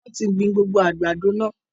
Wọn tí gbìn gbogbo àgbàdo náà.